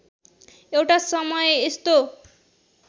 एउटा समय यस्तो